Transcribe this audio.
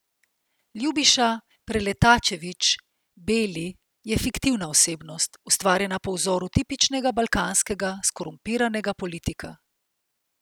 Ljubiša Preletačević Beli je fiktivna osebnost, ustvarjena po vzoru tipičnega balkanskega skorumpiranega politika.